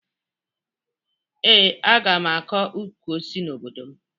Ee, aga m akọ ukwu osisi n'obodo m